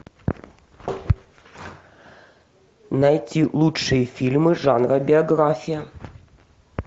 найти лучшие фильмы жанра биография